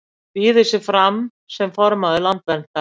Býður sig fram sem formaður Landverndar